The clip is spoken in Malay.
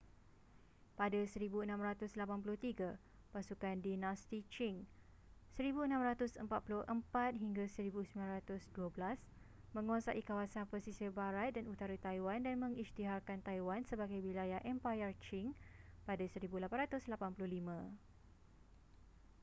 pada 1683 pasukan dinasti qing 1644-1912 menguasai kawasan pesisir barat dan utara taiwan dan mengisytiharkan taiwan sebagai wilayah empayar qing pada 1885